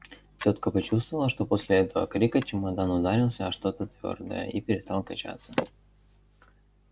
тётка почувствовала что после этого крика чемодан ударился о что-то твёрдое и перестал качаться